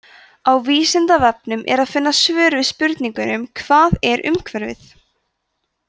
á vísindavefnum er að finna svör við spurningunum hvað er umhverfi